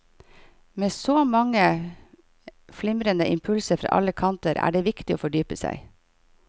Med så mange flimrende impulser fra alle kanter er det viktig å fordype seg.